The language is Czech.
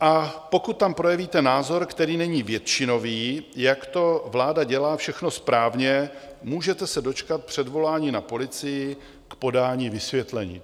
A pokud tam projevíte názor, který není většinový, jak to vláda dělá všechno správně, můžete se dočkat předvolání na policii k podání vysvětlení.